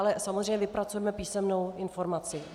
Ale samozřejmě vypracujeme písemnou informaci.